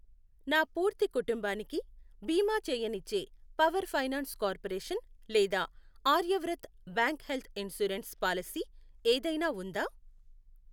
నా పూర్తి కుటుంబానికి బీమా చేయనిచ్చే పవర్ ఫైనాన్స్ కార్పొరేషన్ లేదా Aryavrat bank health insurance policy ఏదైనా ఉందా?